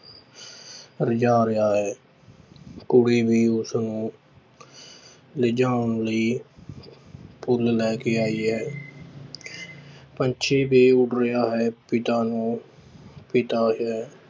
ਰਿਜਾ ਰਿਹਾ ਹੈ ਕੁੜੀ ਵੀ ਉਸਨੂੰ ਰਿਜਾਉਣ ਲਈ ਫੁੱਲ ਲੈ ਕੇ ਆਈ ਹੈ ਪੰਛੀ ਵੀ ਉੱਡ ਰਿਹਾ ਹੈ, ਪਿਤਾ ਨੂੰ ਪਿਤਾ ਇਹ